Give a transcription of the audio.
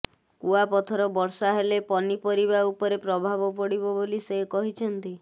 କୁଆପଥର ବର୍ଷା ହେଲେ ପନିପରିବା ଉପରେ ପ୍ରଭାବ ପଡ଼ିବ ବୋଲି ସେ କହିଛନ୍ତି